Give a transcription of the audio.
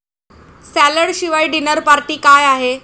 Salad शिवाय dinner party काय आहे?